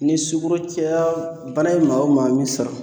Ni sugoro caya bana ye maa o maa min sɔrɔ